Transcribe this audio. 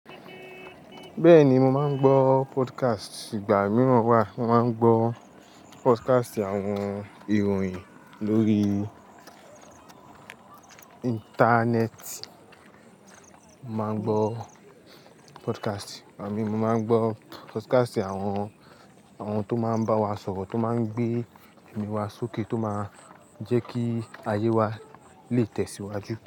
Bẹ́ẹ̀ni, mo máa ń gbọ́ podcast. Igba mìíràn wa, mo máa ń gbọ́ podcast àwọn ìròyìn lórí internet. Mo máa ń gbọ́ podcast, àmín. Mo máa ń gbọ́ podcast àwọn, àwọn tó máa ń bá wa sọ̀rọ̀, tó máa ń gbé ẹ̀mí wa sókè, tó máa ń jẹ́ kí ayé wa lè tẹ̀síwájú.